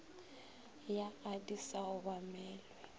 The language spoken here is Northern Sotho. ya a di sa obamelwe